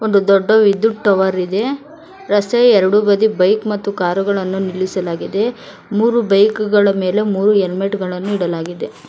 ಒಂದು ದೊಡ್ಡ ವಿದ್ಯುತ್ ಟವರ್ ಇದೆ ರಸ್ತೆಯ ಎರಡು ಬದಿ ಬೈಕ್ ಮತ್ತು ಕಾರುಗಳನ್ನು ನಿಲ್ಲಿಸಲಾಗಿದೆ ಮೂರು ಬೈಕ್ ಗಳ ಮೇಲೆ ಮೂರು ಹೆಲ್ಮೆಟ್ ಗಳನ್ನು ಇಡಲಾಗಿದೆ.